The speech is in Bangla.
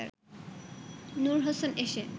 নূর হোসেন এসে